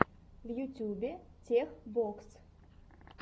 в ютьюбе тех бокс